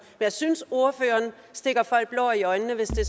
jeg synes ordføreren stikker folk blår i øjnene hvis det